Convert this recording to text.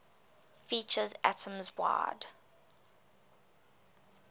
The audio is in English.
features atoms wide